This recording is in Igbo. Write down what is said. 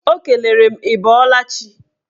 Ọ kelere m ị bọọla chi.